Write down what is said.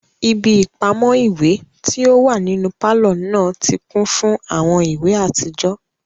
Ibi ipamọ iwe ti o wa ninu palọ naa ti kun fun awọn iwe atijọ